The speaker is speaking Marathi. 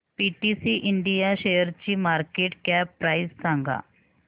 पीटीसी इंडिया शेअरची मार्केट कॅप प्राइस सांगा